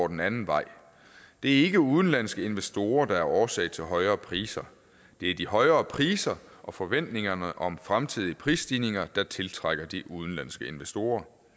den anden vej det er ikke udenlandske investorer der er årsag til højere priser det er de højere priser og forventningerne om fremtidige prisstigninger der tiltrækker de udenlandske investorer